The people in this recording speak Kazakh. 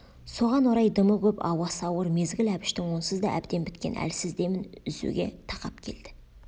соған орай дымы көп ауасы ауыр мезгіл әбіштің онсыз да әбден біткен әлсіз демін үзуге тақап келді